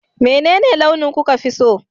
menene launi kuka fi so?